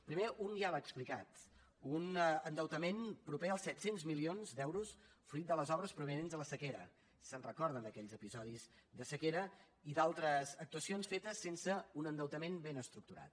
primer un ja l’ha explicat un endeutament proper als set cents milions d’euros fruit de les obres provinents de la sequera se’n recorden d’aquells episodis de sequera i d’altres actuacions fetes sense un endeutament ben estructurat